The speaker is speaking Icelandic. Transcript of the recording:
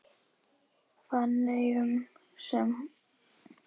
Feneyjum sem hún varð ástfangin af honum.